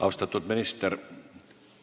Austatud minister!